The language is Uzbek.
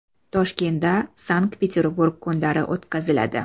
Toshkentda Sankt-Peterburg kunlari o‘tkaziladi.